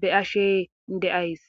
beyashe de'as.